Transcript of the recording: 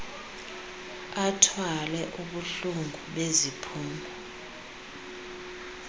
athwale ubuhlungu beziphumo